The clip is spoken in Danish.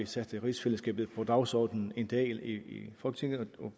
sætte rigsfællesskabet på dagsordenen en dag i folketinget og